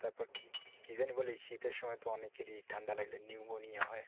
তারপর কি যেন বলে শীতের সময় অনেকেরই ঠান্ডা লাগলে pneumonia হয়।